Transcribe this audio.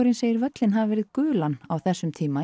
segir völlinn hafa verið gulan á þessum tíma